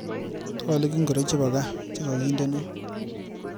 Twalik ingoro chebo kaa chekakindeno.